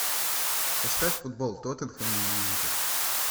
поставь футбол тоттенхэм и юнайтед